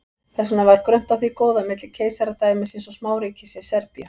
þess vegna var grunnt á því góða milli keisaradæmisins og smáríkisins serbíu